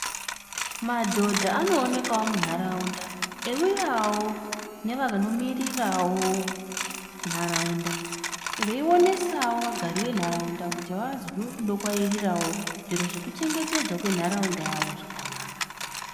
Madhodha anoonekawo mu nharaunda eyiuyawo nevanomirirawo nharaunda veionesawo vagari venharaunda kuti vazwe kudokwairawo zviro zvekuchengetedzwawo kwenharaunda yavo zvakanaka.